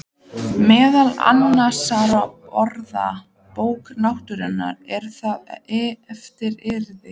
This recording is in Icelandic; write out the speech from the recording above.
Meðal annarra orða: Bók náttúrunnar,- er það eftir yður?